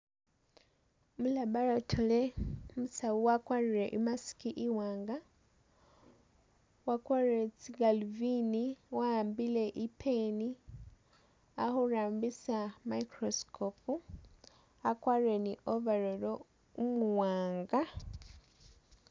Mulaboratory umusawu wakwarire i'mask i'waanga wakwarire tsigaluvini, wa'ambile i'pen ali khurambisa microscope wakwarire ni overall umuwaanga